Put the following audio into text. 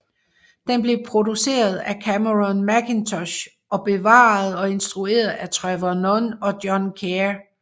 Den blev produceret af Cameron Mackintosh og bearbejdet og instrueret af Trevor Nunn og John Caird